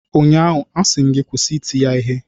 ụnyaahụ, a sị m gị kwụsị iti ya Ihe!